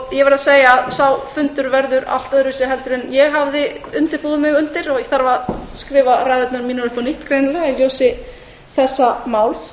verð að segja að sá fundur verður allt öðruvísi en ég hafði búið mig undir ég þarf að skrifa ræðurnar mínar upp á nýtt í ljósi þessa máls